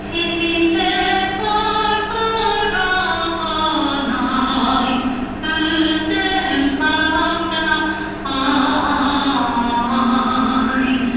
сен мендік арғы жағын ай өзің қамда ай